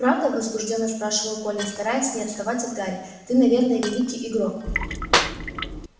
правда возбуждённо спрашивал колин стараясь не отставать от гарри ты наверное великий игрок